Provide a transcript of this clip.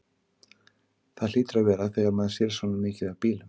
Það hlýtur að vera þegar maður sér svona mikið af bílum.